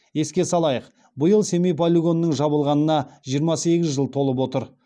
еске салайық биыл семей полигонының жабылғанына жиырма сегіз жыл толып отыр